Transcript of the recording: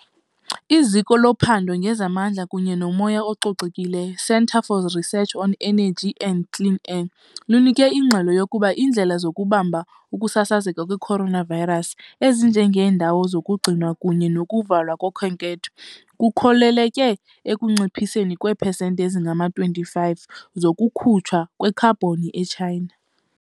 IZiko loPhando ngezaMandla kunye nomoya oCocekileyo, Centre for Research on Energy and Clean Air, lunike ingxelo yokuba iindlela zokubamba ukusasazeka kwe-coronavirus, ezinje ngeendawo zokugcinwa kunye nokuvalwa kokhenketho, kukhokelele ekunciphiseni kweepesenti ezingama-25 zokukhutshwa kwekhabhoni e-China.